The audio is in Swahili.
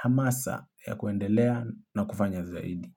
hamasa ya kuendelea na kufanya zaidi.